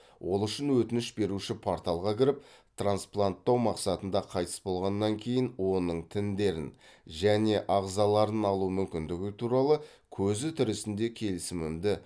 ол үшін өтініш беруші порталға кіріп транспланттау мақсатында қайтыс болғаннан кейін оның тіндерін және ағзаларын алу мүмкіндігі туралы көзі тірісінде келісімімді